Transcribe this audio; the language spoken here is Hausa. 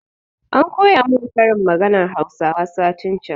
An koya mun ƙarin maganan hausawa satin can